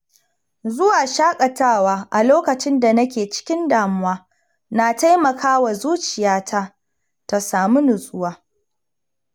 Zuwa shaƙatawa a lokacin da nake cikin damuwa na taimaka wa zuciyata ta samu nutsuwa.